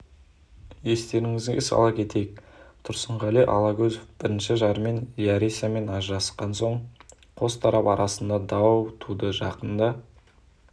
естеріңізге сала кетейік тұрсынғали алагөзов бірінші жары ляйрисамен ажырасқан соң қос тарап арасында дау туды жақында